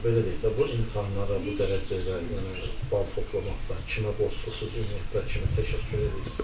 Belə deyək də, bu imtahanlara bu dərəcədə yəni bal toplamaqda kimə borclusunuz, ümumiyyətlə kimə təşəkkür eləyirsiz?